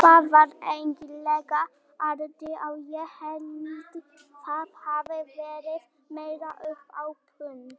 Fjallað er um innkirtlakerfið í svari sama höfundar við spurningunni Hvað er innkirtlakerfi?